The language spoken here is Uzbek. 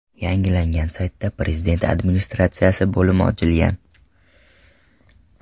Yangilangan saytda Prezident Administratsiyasi bo‘limi ochilgan.